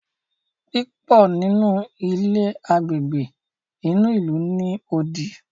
púpọ nínú ilé Àgbègbè inú ilu ní odì.